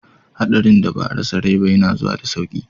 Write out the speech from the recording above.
Hadarin da ba a rasa rai ba yana zuwa da sauki.